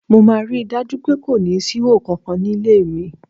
Mo máa rí i dájú pé kò síhò kankan nílé mi.